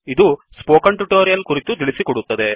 ಇದು ಈ spoken tutorial ಕುರಿತು ತಿಳಿಸಿಕೊಡುತ್ತದೆ